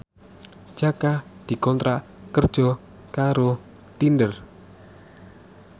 Jaka dikontrak kerja karo Tinder